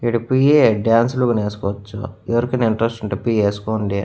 ఇడ పోయి డాన్సులు గను ఏసుకోచ్చు ఎవరికైనా ఇంట్రెస్ట్ ఉంటే పోయి ఏసుకోండి.